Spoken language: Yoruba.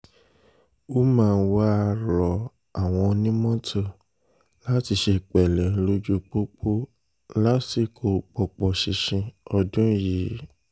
umar wàá rọ àwọn onímọ́tò láti ṣe pẹ̀lẹ́ lójú pópó lásìkò pọ́pọ́ ṣinṣin ọdún yìí ọdún yìí